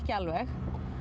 alveg